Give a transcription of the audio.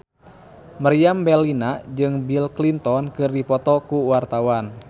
Meriam Bellina jeung Bill Clinton keur dipoto ku wartawan